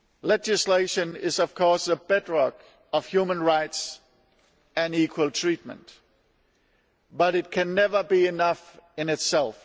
Legislation is, of course, the bedrock of human rights and equal treatment, but it can never be enough in itself.